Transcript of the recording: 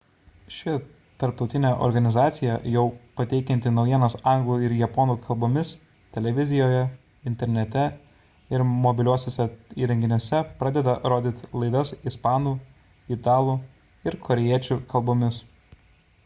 ši tarptautinė organizacija jau pateikianti naujienas anglų ir japonų kalbomis televizijoje internete ir mobiliuosiuose įrenginiuose pradeda rodyti laidas ispanų italų ir korėjiečių kalbomis